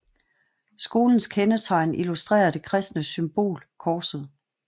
Skolens kendetegn illustrerer det kristne symbol korset